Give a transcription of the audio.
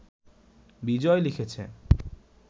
বিজয় লিখেছে